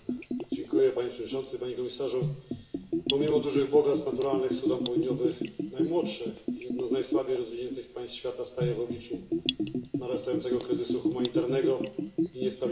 Panie Przewodniczący! Panie Komisarzu! Pomimo dużych bogactw naturalnych Sudan Południowy najmłodsze i jedno z najsłabiej rozwiniętych państw świata staje w obliczu narastającego kryzysu humanitarnego i niestabilności.